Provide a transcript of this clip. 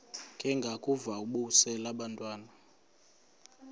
ndengakuvaubuse laa ntwana